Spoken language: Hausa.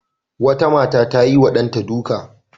Wata mata ta yiwa ɗanta duka.